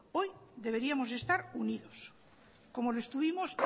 hoy deberíamos estar unidos como lo estuvimos